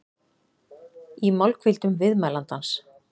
í málhvíldum viðmælandans.